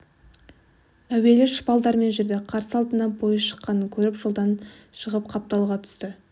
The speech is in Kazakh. әуелі шпалдармен жүрді қарсы алдынан пойыз шыққанын көріп жолдан шығып қапталға түсті